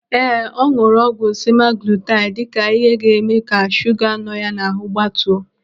Ee, ọ nụrụ ọgwụ semaglutaid dịka ihe ga-eme ka shuga nọ ya n'ahụ gbatuo.